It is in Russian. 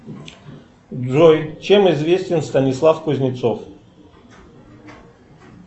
джой чем известен станислав кузнецов